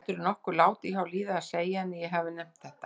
Gætirðu nokkuð látið hjá líða að segja henni að ég hafi nefnt þetta?